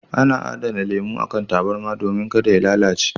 Ana adana lemo a kan tabarma domin ka da ya lalace.